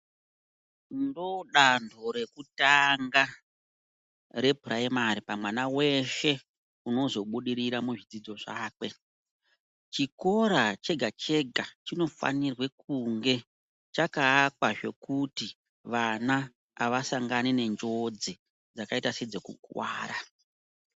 Ndodanho rekutanga repuraimari pamwana veshe unozobudirira muzvidzidzo zvakwe. Chikora chega-chega chino fanirwe kunge chakaakwa zvekuti vana havasangani nenjodzi dzakaita sedze kukuvara.